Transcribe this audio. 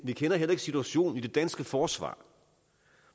vi kender heller ikke situationen i det danske forsvar